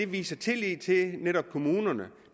viser tillid til netop kommunerne